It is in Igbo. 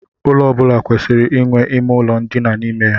Ụlọ ọ bụla kwesịrị inwe ime ụlọ ndina n'ime ya.